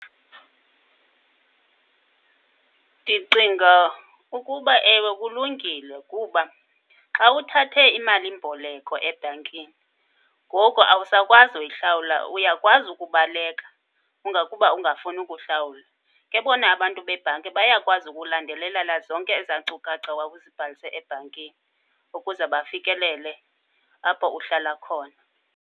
Ndicinga ukuba ewe kulungile, kuba xa uthathe imalimboleko ebhankini ngoku awusakwazi uyihlawula uyakwazi ukubaleka ungakuba ungafuni kuhlawula. Ke bona abantu bebhanki bayakwazi ukulandelelela zonke ezaa nkcukacha wawuzibhalise ebhankini ukuze bafikelele apho uhlala khona.